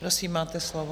Prosím, máte slovo.